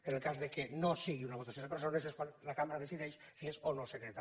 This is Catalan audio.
en el cas que no sigui una votació de persones és quan la cambra decideix si és o no secreta